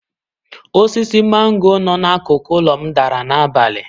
Osisi mango no n'akụkụ ụlọ m dara n'abalị.